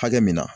Hakɛ min na